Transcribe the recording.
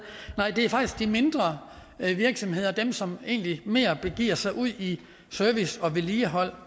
nej det er faktisk de mindre virksomheder dem som egentlig mere begiver sig ud i service og vedligehold